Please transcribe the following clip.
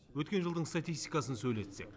өткен жылдың статистикасын сөйлетсек